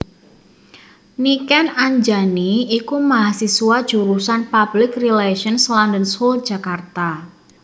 Niken Anjani iku mahasiswa Jurusan Public Relations London School Jakarta